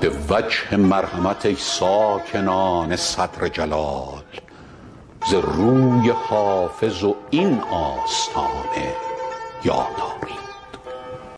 به وجه مرحمت ای ساکنان صدر جلال ز روی حافظ و این آستانه یاد آرید